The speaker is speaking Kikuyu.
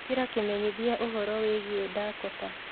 ĩkĩra kimenyithiaũhoro wĩĩgĩe dakota